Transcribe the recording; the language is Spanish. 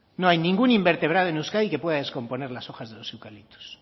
no hay ningún invertebrado en euskadi que puede descomponer las hojas de los eucaliptos